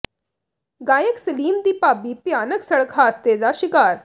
ਗਾਇਕ ਸਲੀਮ ਦੀ ਭਾਬੀ ਭਿਆਨਕ ਸੜਕ ਹਾਦਸੇ ਦਾ ਸ਼ਿਕਾਰ